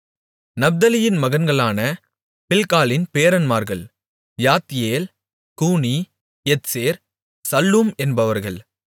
நப்தலியின் மகன்களான பில்காளின் பேரன்மார்கள் யாத்தியேல் கூனி எத்சேர் சல்லூம் என்பவர்கள்